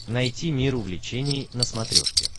найти мир увлечений на смотрешке